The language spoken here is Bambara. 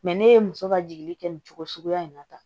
ne ye muso ka jigi kɛ nin cogo suguya in na tan